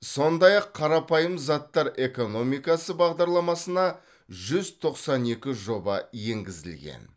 сондай ақ қарапайым заттар экономикасы бағдарламасына жүз тоқсан екі жоба енгізілген